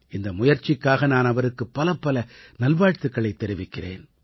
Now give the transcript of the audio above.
இந்த முயற்சிக்காக நான் அவருக்குப் பலப்பல நல்வாழ்த்துக்களைத் தெரிவிக்கிறேன்